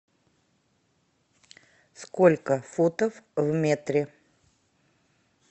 сколько футов в метре